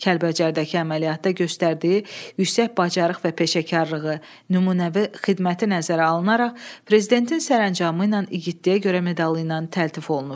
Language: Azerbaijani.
Kəlbəcərdəki əməliyyatda göstərdiyi yüksək bacarıq və peşəkarlığı, nümunəvi xidməti nəzərə alınaraq, prezidentin sərəncamı ilə İgidliyə görə medalı ilə təltif olunub.